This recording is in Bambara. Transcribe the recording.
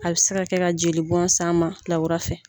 A bɛ se ka kɛ ka jeli bɔn s'a ma lawura fɛ.